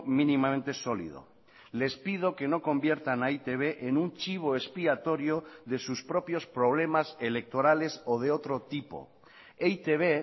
mínimamente sólido les pido que no conviertan a e i te be en un chivo expiatorio de sus propios problemas electorales o de otro tipo e i te be